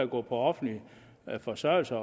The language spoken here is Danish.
på offentlig forsørgelse